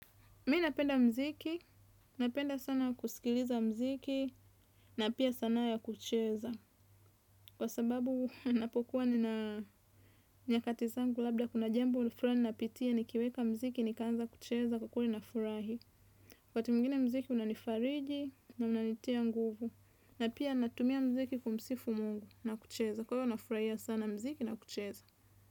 Mi napenda mziki, napenda sana kusikiliza mziki na pia sanaa ya kucheza. Kwa sababu ninapokuwa nina nyakati zangu labda kuna jambo fulani ninapitia nikiweka mziki nikaanza kucheza kwa kuwa nafurahi. Kwa wakati mwingine mziki unanifariji na unanitia nguvu na pia natumia mziki kumsifu mungu na kucheza kwa hio nafurahia sana mziki na kucheza.